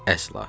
Əsla.